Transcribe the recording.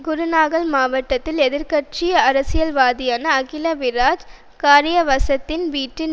குருணாகல் மாவட்டத்தில் எதிர் கட்சி அரசியல்வாதியான அகில விராஜ் காரியவசத்தின் வீட்டின்